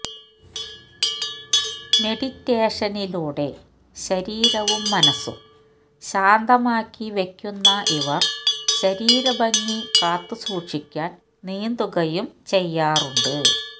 മെഡിറ്റേഷനിലൂടെ ശരീരവും മനസും ശാന്തമാക്കി വയ്ക്കുന്ന ഇവര് ശരീരഭംഗി കാത്തു സൂക്ഷിക്കാന് നീന്തുകയും ചെയ്യാറുണ്ട്